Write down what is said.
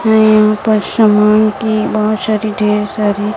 न यहाँ पर समान की बहोत सारी ढेर सारी--